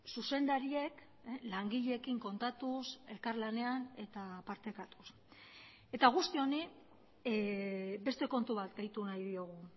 zuzendariek langileekin kontatuz elkarlanean eta partekatuz eta guzti honi beste kontu bat gehitu nahi diogu